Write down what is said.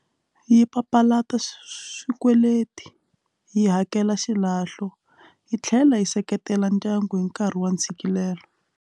Yi papalata swikweleti yi hakela xilahlo yi tlhela yi seketela ndyangu hi nkarhi wa ntshikelelo.